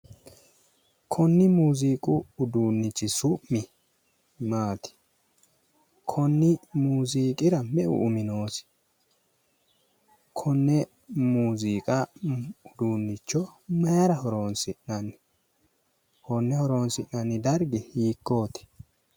Konni muuziiqu uduunnichi su'mi maati? Konni muuziiqira meu umi noosi? Konne muuziiqu uduunnicho mayira horoonsi'nanni? Konne horoonsi'nanni dargi hiikkooti?